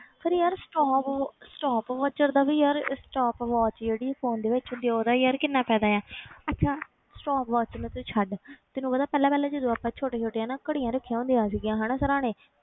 ਪਰ ਯਾਰ stop stop watch ਚੱਲਦਾ ਵੀ ਯਾਰ stop watch ਜਿਹੜੀ phone ਦੇ ਵਿੱਚ ਹੁੰਦੀ ਹੈ ਉਹਦਾ ਯਾਰ ਕਿੰਨਾ ਫ਼ਾਇਦਾ ਹੈ ਅੱਛਾ stop watch ਤੇ ਤੂੰ ਛੱਡ ਤੈਨੂੰ ਪਤਾ ਪਹਿਲਾਂ ਪਹਿਲਾਂ ਜਦੋਂ ਆਪਾਂ ਛੋਟੇ ਛੋਟੇ ਹਨਾ ਘੜੀਆਂ ਰੱਖੀਆਂ ਹੁੰਦੀਆਂ ਸੀਗੀਆਂ ਹਨਾ ਸਿਰਾਹਣੇ